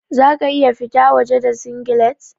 Za ka iya fita waje da singlet?